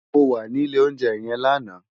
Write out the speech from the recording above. Mó wà ni ilé óunjè yèn làná